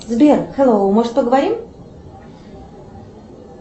сбер хеллоу может поговорим